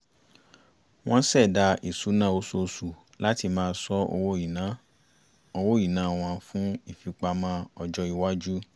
wọ́n ṣẹ̀dá ìṣúná oṣooṣù láti máa sọ owó ìná wọn fún ìfipamọ́ ọjọ́ iwájú